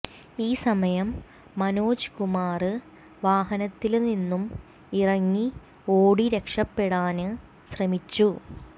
ഈ സമയം മനോജ്കുമാര് വാഹനത്തില് നിന്നും ഇറങ്ങി ഓടി രക്ഷപെടാന് ശ്രമിച്ചു